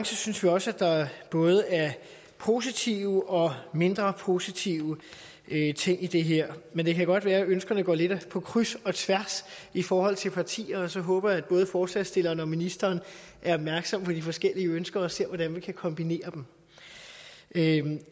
synes vi også at der både er positive og mindre positive ting i det her men det kan godt være at ønskerne går lidt på kryds og tværs i forhold til partier så jeg håber at både forslagsstillerne og ministeren er opmærksom på de forskellige ønsker og vil se hvordan man kan kombinere dem